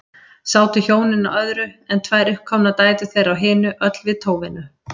Sátu hjónin á öðru, en tvær uppkomnar dætur þeirra á hinu, öll við tóvinnu.